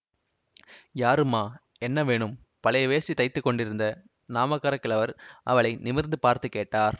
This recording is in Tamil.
யாரும்மா என்ன வேணும் பழைய வேஷ்டி தைத்துக் கொண்டிருந்த நாமக்காரக் கிழவர் அவளை நிமிர்ந்து பார்த்து கேட்டார்